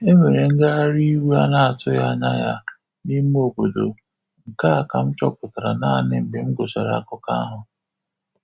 Enwere ngagharị iwe a na-atughi anya ya ya n'ime obodo, nke a ka m chọpụtara nanị mgbe m gụchara akụkọ ahu